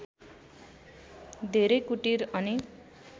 धेरै कुटीर अनि